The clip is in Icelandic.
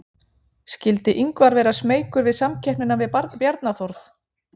Skyldi Ingvar vera smeykur við samkeppnina við Bjarna Þórð?